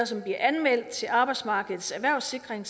som bliver anmeldt til arbejdsmarkedets erhvervssikring